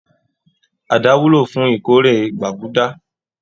Àdá wúlò fún ìkórè gbàgúdá